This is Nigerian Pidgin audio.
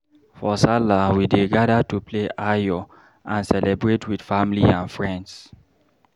For Sallah, we dey gather to play "Ayo" and celebrate with family and friends.